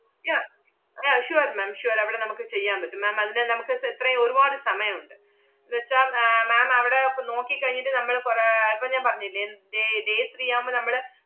yeah yeah sure ma'am sure അവടെ നമ്മക്ക് ചെയ്യാൻ പറ്റും. ma'am അതിന് നമ്മക്ക് സെ~ എത്രയും ഒരുവാട് സമയം ഒണ്ട്. ~ന്നുവെച്ചാ ആഹ് ma'am അവടെ ~പ്പ നോക്കി കഴിഞ്ഞിട്ട് നമ്മള് കൊറ~ ആഹ് ~പ്പം ഞാൻ പറഞ്ഞില്ലേ എൻ~ day day three ആവുമ്പ നമ്മള്,